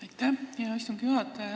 Aitäh, hea istungi juhataja!